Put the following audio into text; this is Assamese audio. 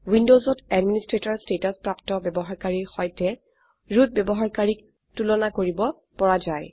উইন্ডোজত এডমিনিষ্ট্ৰেটৰ ষ্টেটাছ প্ৰাপ্ত ব্যবহাৰকাৰীৰ সৈতে ৰুট ব্যবহাৰকাৰীক তুলনা কৰিব পৰা যায়